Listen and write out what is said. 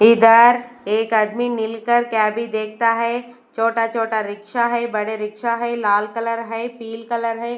इधर एक आदमी मिलकर क्या भी देखता है छोटा-छोटा रिक्शा है बड़े रिक्शा है लाल कलर है पील कलर है।